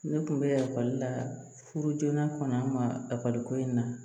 Ne tun bɛ ekɔli la furu joona kɔnɔ an mali ko in na